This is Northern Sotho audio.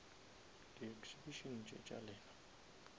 di exhibition tše tša lena